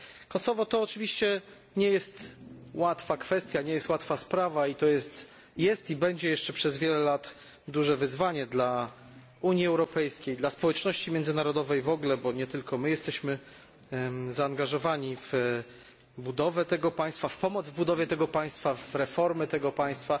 Kosowo to oczywiście nie jest łatwa kwestia, nie jest łatwa sprawa i to jest i będzie jeszcze przez wiele lat dużym wyzwaniem dla Unii Europejskiej, dla społeczności międzynarodowej w ogóle, bo nie tylko my jesteśmy zaangażowani w budowę, w pomoc w budowie tego państwa, w reformy tego państwa.